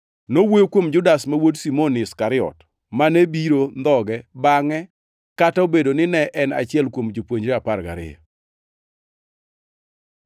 (Nowuoyo kuom Judas ma wuod Simon Iskariot mane biro ndhoge bangʼe, kata obedo ni ne en achiel kuom jopuonjrene apar gariyo.)